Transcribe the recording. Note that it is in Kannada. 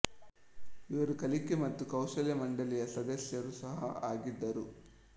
ಇವರು ಕಲಿಕೆ ಮತ್ತು ಕೌಶಲ್ಯ ಮಂಡಳಿಯ ಸದಸ್ಯರು ಸಹ ಆಗಿದ್ದರು